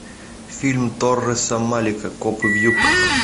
фильм торреса малика копы в юбках